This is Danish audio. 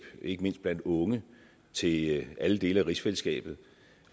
ikke mindst blandt unge til alle dele af rigsfællesskabet